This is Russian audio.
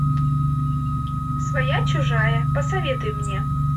своя чужая посоветуй мне